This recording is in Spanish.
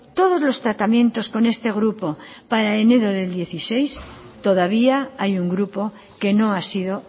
todos los tratamientos con este grupo para enero del dos mil dieciséis todavía hay un grupo que no ha sido